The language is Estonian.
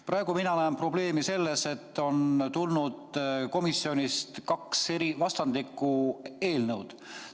Praegu mina näen probleemi selles, et komisjonist on tulnud kaks vastandlikku ettepanekut.